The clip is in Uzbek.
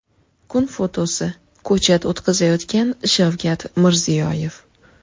Kun fotosi: Ko‘chat o‘tqazayotgan Shavkat Mirziyoyev.